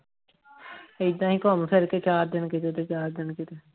ਏਦਾਂ ਹੀ ਘੁੰਮ ਫਿਰ ਕੇ ਚਾਰ ਦਿਨ ਕਿਤੇ ਤੇ ਚਾਰ ਦਿਨ ਕਿਤੇ